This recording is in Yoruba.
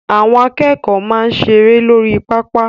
Àwọn akẹ́kọ̀ọ́ máa ń seré lórí pápá.